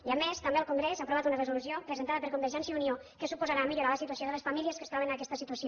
i a més també el congrés ha aprovat una resolució presentada per convergència i unió que suposarà millorar la situació de les famílies que es troben en aquesta situació